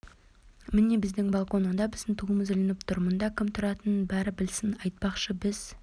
міне біздің балкон онда біздің туымыз ілініп тұр мұнда кім тұратынын бәрі білсін айтпақшы біз